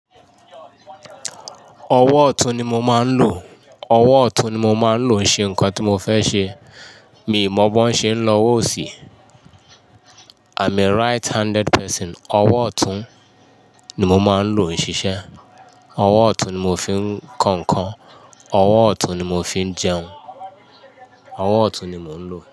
Ọwọ́ ọ̀tún ni mo máa ń lò, ọwọ́ ọ̀tún ni mo máa ń lò ṣe nǹkan tí mo fẹ́ ṣe. Mi mọ̀ bó ń ṣe ń lọ owó osí I'm a right handed person. Ọwọ́ ọ̀tún ni mo máa ń lò ṣiṣẹ́, ọwọ́ ọ̀tún ni mo fi ń kọ nǹkan, ọwọ́ ọ̀tún ni mo fi ń jẹun, ọwọ́ ọ̀tún ni mò ń lò.